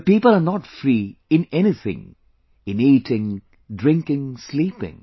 The people are not free even in eating, drinking, sleeping